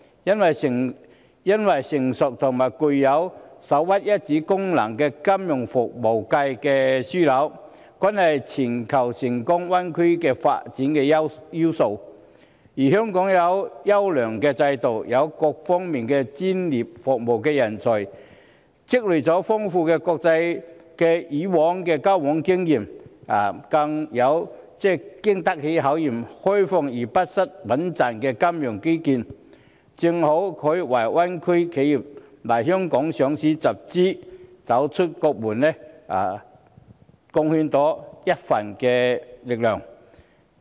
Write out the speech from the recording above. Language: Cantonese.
因為擁有成熟和首屈一指的金融服務樞紐，是全球灣區發展成功的要素，而香港有優良的制度，也有各方面的專業服務人才，以往亦積累了豐富的國際交往經驗，更有經得起考驗、開放而不失穩健的金融基建，正好可以為大灣區企業來港上市集資或走出國門貢獻一分力量。